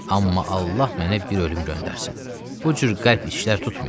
Amma Allah mənə bir ölüm göndərsin, bu cür qəlb işlər tutmuyam.